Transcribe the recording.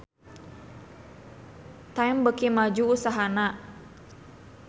Time beuki maju usahana